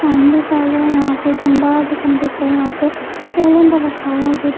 fan भी चल रहा है यहाँ पे कंबा जो कमबे पर यहाँ पे कैरेंडर रखा हुआ है जो --